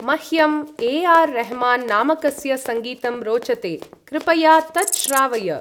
मह्यम् ए.आर्.रेह्मान् नामकस्य सङ्गीतं रोचते, कृपया तत् श्रावय।